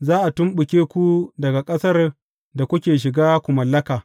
Za a tumɓuke ku daga ƙasar da kuke shiga ku mallaka.